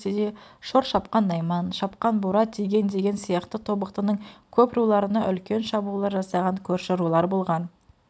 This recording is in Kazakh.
ертеде шор шапқан найман шапқан бура тиген деген сияқты тобықтының көп руларына үлкен шабуылдар жасаған көрші рулар болған